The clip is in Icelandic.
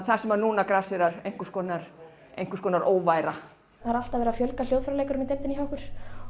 þar sem nú grasserar einhvers konar einhvers konar óværa það er alltaf verið að fjölga hljóðfæraleikurum í deildinni hjá okkur